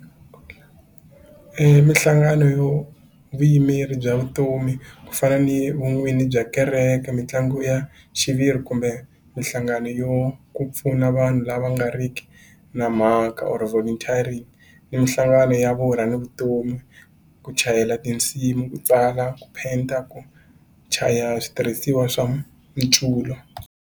Minhlangano yo vuyimeri bya vutomi ku fana ni vun'wini bya kereke mitlangu ya xiviri kumbe minhlangano yo ku pfuna vanhu lava nga ri ki na mhaka or volunteering ni minhlangano ya vona ni vutomi ku chayela tinsimu ku tswala ku penda ku chaya switirhisiwa swa .